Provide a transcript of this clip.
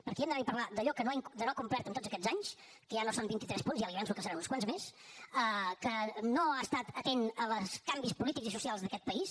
perquè hem d’anar a parlar d’allò que no ha complert en tots aquests anys que ja no són vintitres punts ja li avanço que en seran uns quants més que no ha estat atent als canvis polítics i socials d’aquest país